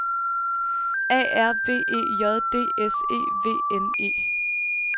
A R B E J D S E V N E